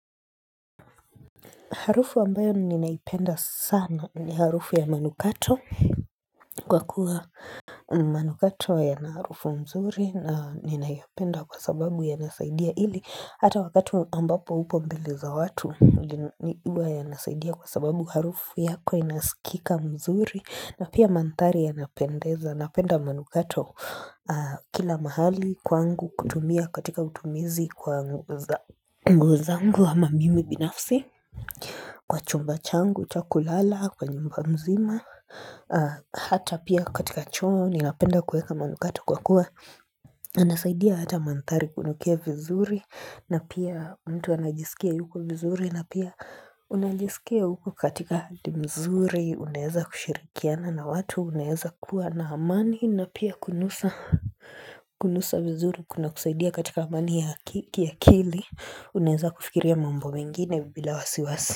Harufu ambayo ninaipenda sana ni harufu ya manukato kwa kuwa manukato yana harufu mzuri na ninaipenda kwa sababu yanasaidia ili. Hata wakati ambapo upo mbeleza watu ni uwa ya nasaidia kwa sababu harufu yako inasikika mzuri na pia mandhari yanapendeza. Napenda manukato kila mahali kwangu kutumia katika utumizi kwa nguo zangu ama mimi binafsi. Kwa chumba changu, cha kulala, kwa nyumba mzima Hata pia katika choo, ninapenda kueka manukatu kwa kuwa inasaidia hata mandhari kunukia vizuri na pia mtu anajisikia yuko vizuri na pia unajisikia uko katika hali mzuri Unaeza kushirikiana na watu, unaeza kuwa na amani na pia kunusa vizuri kuna kusaidia katika amani ya kili Unaeza kufikiria mambo mengine bila wasiwasi.